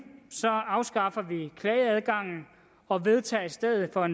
afskaffer vi klageadgangen og vedtager i stedet for